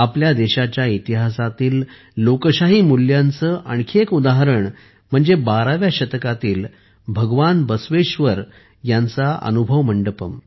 आपल्या देशाच्या इतिहासातील लोकशाही मूल्यांचे आणखी एक उदाहरण म्हणजे 12 व्या शतकातील भगवान बसवेश्वर यांचा अनुभव मंडपम